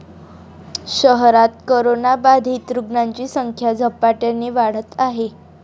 शहरात करोनाबाधित रुग्णांची संख्या झपाट्याने वाढत आहे.